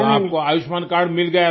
तो आपको आयुष्मान कार्ड मिल गया था